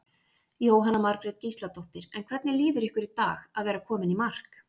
Jóhanna Margrét Gísladóttir: En hvernig líður ykkur í dag að vera komin í mark?